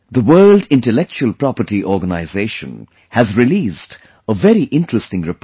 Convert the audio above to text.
The World Intellectual Property Organization has released a very interesting report